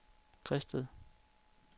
Græsted